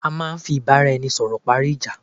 À máà ń fí ìbáraẹnisọ̀rọ̀ parí ìjá